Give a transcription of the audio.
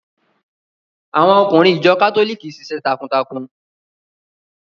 Àwọn ọkùnrin ìjọ kátólìkì ṣiṣẹ́ takuntakun.